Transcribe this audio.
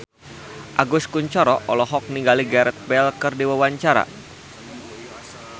Agus Kuncoro olohok ningali Gareth Bale keur diwawancara